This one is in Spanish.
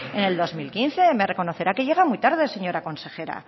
en el dos mil quince me reconocerá que llega muy tarde señora consejera